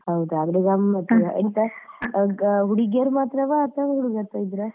ಹೌದಾ ಆದ್ರೆ ಗಮ್ಮತ್ತಲ್ಲ ಹುಡುಗಿಯರು ಮಾತ್ರವಾ ಅಥವಾ ಹುಡುಗರುಸ ಇದ್ರ?